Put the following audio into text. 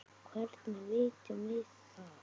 Hvernig vitum við það?